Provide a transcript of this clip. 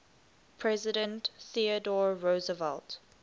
president theodore roosevelt